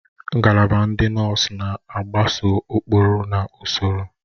Ngalaba ndị nọọsụ na-agbaso ụkpụrụ na ụsọrọ